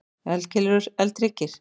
Eldkeilur og eldhryggir.